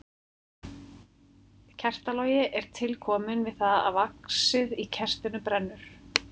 Kertalogi er til kominn við það að vaxið í kertinu brennur.